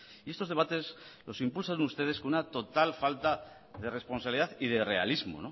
y estos debates los impulsan ustedes con una total falta de responsabilidad y de realismo